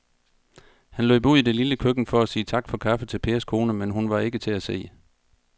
Han løb ud i det lille køkken for at sige tak for kaffe til Pers kone, men hun var ikke til at se.